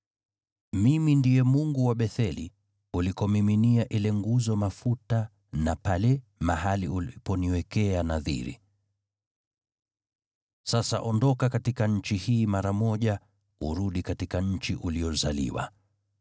Mimi ndiye Mungu wa Betheli, ulikomiminia ile nguzo mafuta na pale mahali uliponiwekea nadhiri. Sasa ondoka katika nchi hii mara moja urudi katika nchi uliyozaliwa.’ ”